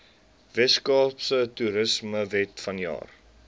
weskaapse toerismewet vanjaar